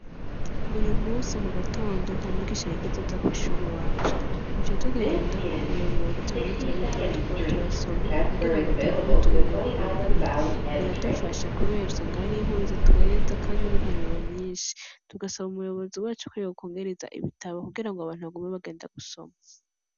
Uyu munsi mugatondo, nta mwigisha yigeze aza kw'ishure iwacu. Twaciye tugenda kumuyobozi, turamusaba ibitabo tukaba turasoma kugira ngo tugume twungura ubumenyi. Biradufasha cane kubera usanga hariyo inkuru zitwenza kandi n'impanuro nyinshi. Tugasaba umuyobozi wacu ko yokwongereza ibitabo kugira ngo abantu bagume bagenda gusoma.